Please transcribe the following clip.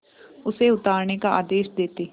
उसे उतारने का आदेश देते